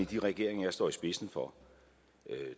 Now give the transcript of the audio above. i de regeringer jeg står i spidsen for